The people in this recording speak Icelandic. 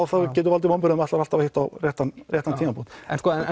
það getur valdið vonbrigðum ætlar alltaf að hitta á réttan réttan tímapunkt en sko